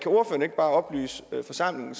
bare oplyse forsamlingen